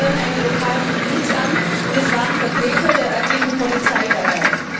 Die Täter gehören einer lokalen Miliz an, und es waren Vertreter der örtlichen Polizei dabei.